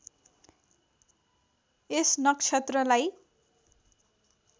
यस नक्षत्रलाई